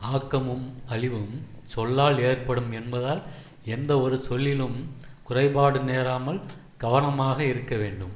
ஆக்கமும் அழிவும் சொல்லால் ஏற்படும் என்பதால் எந்தவொரு சொல்லிலும் குறைபாடு நேராமல் கவனமாக இருக்க வேண்டும்